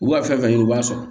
U b'a fɛn fɛn ɲini u b'a sɔrɔ